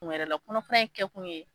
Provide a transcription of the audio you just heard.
kun wɛrɛ la kɔnɔfara in kɛkun ye